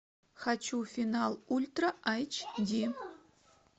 хочу финал ультра айч ди